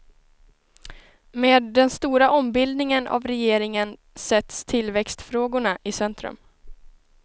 Med den stora ombildningen av regeringen sätts tillväxtfrågorna i centrum.